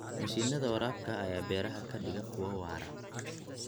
Mashiinnada waraabka ayaa beeraha ka dhiga kuwo waara.